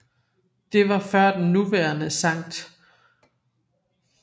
Det var før den nuværende Sct